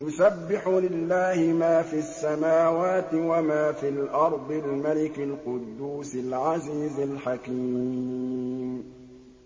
يُسَبِّحُ لِلَّهِ مَا فِي السَّمَاوَاتِ وَمَا فِي الْأَرْضِ الْمَلِكِ الْقُدُّوسِ الْعَزِيزِ الْحَكِيمِ